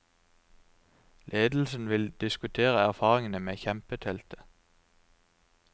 Ledelsen vil diskutere erfaringene med kjempeteltet.